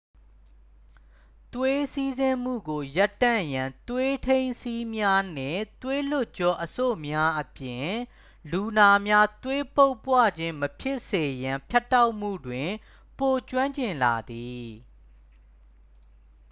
သွေးစီးဆင်းမှုကို ရပ်တန့်ရန် သွေးထိန်းစည်းများနှင့် သွေးလွှတ်ကြောအဆို့များအပြင် လူနာများ သွေးပုပ်ပွခြင်းမဖြစ်စေရန် ဖြတ်တောက်မှုတွင် ပိုကျွမ်းကျင်လာသည်